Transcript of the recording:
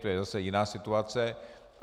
To je zase jiná situace.